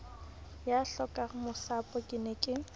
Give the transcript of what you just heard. ya hlokangmasapo ke ne ke